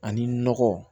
Ani nɔgɔ